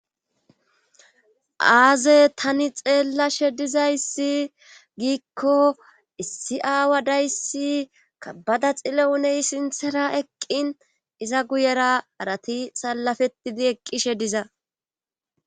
Aaze tani xeellashe dizayssi giikko issi aawa dayssi ka bada xile uney sinthera eqqin iza guyera arati salafetidi eqqishe diza